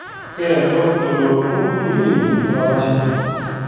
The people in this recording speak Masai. Keado elototo ting'iria olalashe.